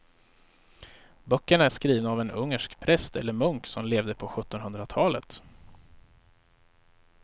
Böckerna är skrivna av en ungersk präst eller munk som levde på sjuttonhundratalet.